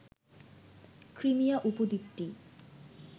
Crimea উপদ্বীপটি